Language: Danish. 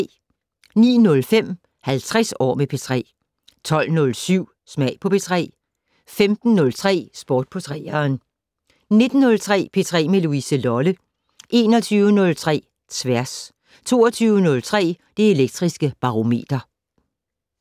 09:05: 50 år med P3 12:07: Smag på P3 15:03: Sport på 3'eren 19:03: P3 med Louise Lolle 21:03: Tværs 22:03: Det Elektriske Barometer